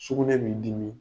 Sugunɛ b'i dimi.